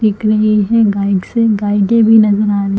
दिख रही है गाइड्स है गाइडें भी नज़र आ रही --